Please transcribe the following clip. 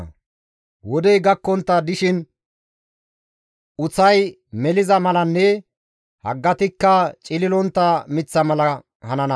Izi wodey gakkontta dishin uththay meliza malanne haggatikka cililontta miththa mala hanana.